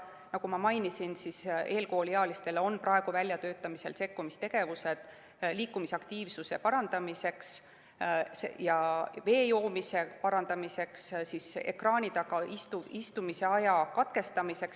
Nagu ma mainisin, eelkooliealistele on praegu väljatöötamisel sekkumistegevused liikumisaktiivsuse parandamiseks, vee joomise parandamiseks, ekraani taga istumise aja katkestamiseks.